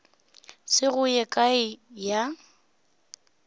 se go ye kae ya